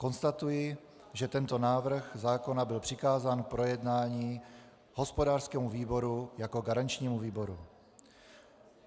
Konstatuji, že tento návrh zákona byl přikázán k projednání hospodářskému výboru jako garančnímu výboru.